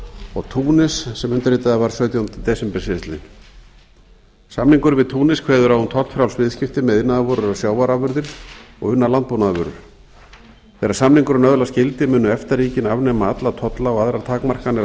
og túnis sem undirritaður var sautjánda desember síðastliðinn samningurinn við túnis kveður á um tollfrjáls viðskipti með iðnaðarvörur og sjávarafurðir og unnar landbúnaðarvörur þegar samningurinn öðlast gildi munu efta ríkin afnema alla tolla og aðrar takmarkanir á